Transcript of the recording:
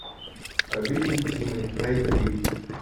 обитель тьмы найти